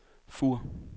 Fur